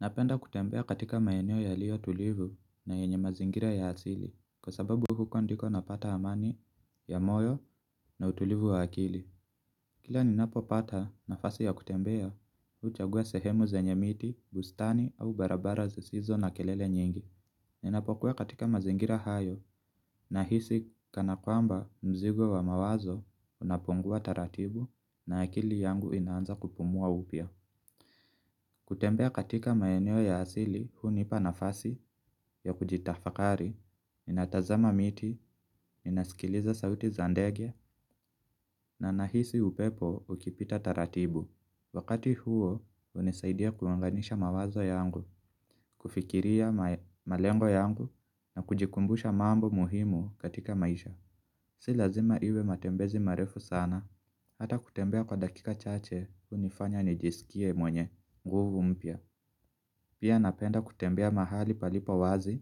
Napenda kutembea katika maeneo yaliyotulivu na yenye mazingira ya asili kwasababu huko ndiko napata amani ya moyo na utulivu wa akili. Kila ninapopata nafasi ya kutembea huchagua sehemu zenye miti, bustani au barabara zisizo na kelele nyingi. Ninapokuwa katika mazingira hayo, nahisi kana kwamba mzigo wa mawazo unapungua taratibu, na akili yangu inaanza kupumua upya. Kutembea katika maeneo ya asili hunipa nafasi ya kujitafakari, ninatazama miti, ninasikiliza sauti za ndege na nahisi upepo ukipita taratibu. Wakati huo hunisaidia kuunganisha mawazo yangu, kufikiria malengo yangu na kujikumbusha mambo muhimu katika maisha. Si lazima iwe matembezi marefu sana, hata kutembea kwa dakika chache hunifanya nijisikie mwenye nguvu mpya. Pia napenda kutembea mahali palipo wazi,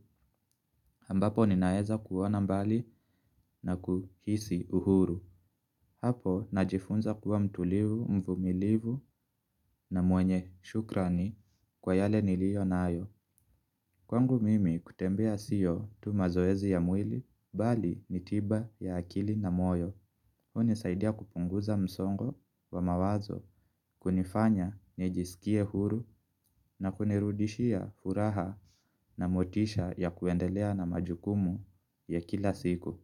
ambapo ninaweza kuona mbali na kuhisi uhuru. Hapo najifunza kuwa mtulivu, mvumilivu na mwenye shukrani kwa yale niliyonayo. Kwangu mimi kutembea sio tu mazoezi ya mwili, bali ni tiba ya akili na moyo. Hunisaidia kupunguza msongo wa mawazo kunifanya nijisikie huru na kunirudishia furaha na motisha ya kuendelea na majukumu ya kila siku.